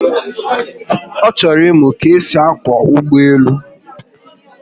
O choro imu ka-esi akwo ugboelu